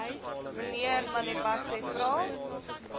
mnr malebatsi vra